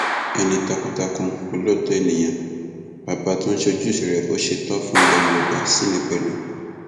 ẹni takuntakun olóòótọ ènìyàn bàbá tó ń ṣojúṣe rẹ bó ṣe tọ fún ilẹ yorùbá ṣì ni pẹlú